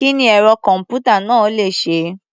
Kí ni ẹ̀rọ-kọ̀m̀pútà náà le ṣe?